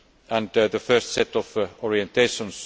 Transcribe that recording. force and the first set of orientations.